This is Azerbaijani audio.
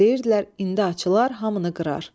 Deyirdilər, indi açılar, hamını qırar.